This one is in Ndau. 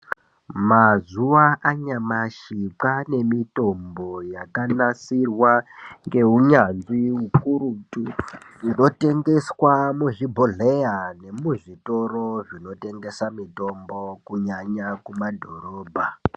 Mazuva anyamashi kwane mitombo yakanasirwa nehunyanzvi ukurutu inotengeswa mezvibhohleya nemuzvitoro zvinotengesa mitombo kunyanya mumadhorobha.